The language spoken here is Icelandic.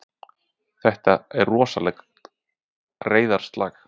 Þetta er rosalegt reiðarslag!